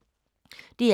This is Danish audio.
DR K